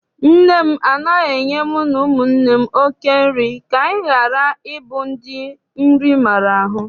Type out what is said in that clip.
Nne m anaghị enye mu na ụmụnne m oké nri ka anyị ghara ịbụ ndị nri maara ahụ.